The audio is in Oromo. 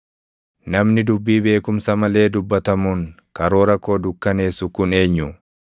“Namni dubbii beekumsa malee dubbatamuun karoora koo dukkanneessu kun eenyu?